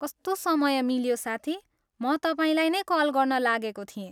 कस्तो समय मिल्यो साथी, म तपाईँलाई नै कल गर्न लागेको थिएँ।